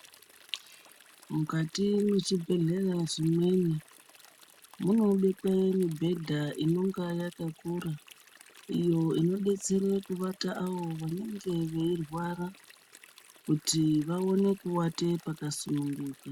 Mukati mwezvibhedhlera zvimweni munobekwe mibhedha inenga yakakura iyo inodetsere kuvata avo vanenge veirwara kuti vaone kuvate pakasunungukaa.